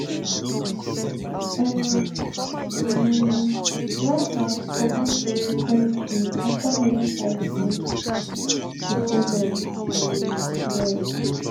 im um rivals comot from di territory afta heavy fighting di following um year